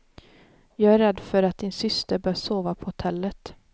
Jag är rädd för att din syster bör sova på hotellet.